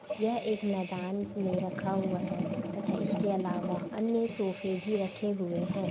यह एक मैदान में रखा हुआ है तथा इसके अलावा अन्य सोफे भी रखे हुए हैं।